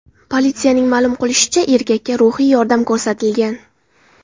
Politsiyaning ma’lum qilishicha, erkakka ruhiy yordam ko‘rsatilgan.